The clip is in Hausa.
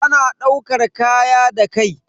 Ana daukar kaya da kai.